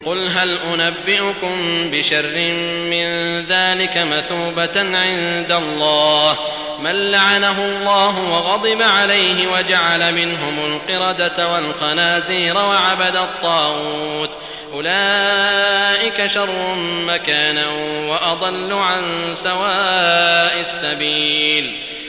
قُلْ هَلْ أُنَبِّئُكُم بِشَرٍّ مِّن ذَٰلِكَ مَثُوبَةً عِندَ اللَّهِ ۚ مَن لَّعَنَهُ اللَّهُ وَغَضِبَ عَلَيْهِ وَجَعَلَ مِنْهُمُ الْقِرَدَةَ وَالْخَنَازِيرَ وَعَبَدَ الطَّاغُوتَ ۚ أُولَٰئِكَ شَرٌّ مَّكَانًا وَأَضَلُّ عَن سَوَاءِ السَّبِيلِ